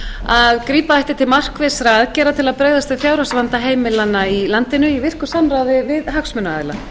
að grípa ætti til markvissra aðgerða til að bregðast við fjárhagsvanda heimilanna í landinu í virku samráði við hagsmunaaðila